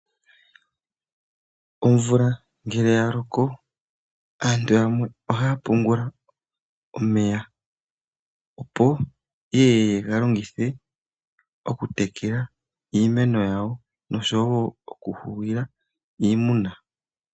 Omvula ngele ya loko, aantu ohaa pungula omeya ye ye ye ga longithe, oku tekeka iimeno yawo osho woo oku hugula iimuna.